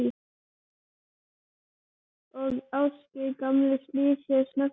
Og Ásgeir gamli snýr sér snöggt við.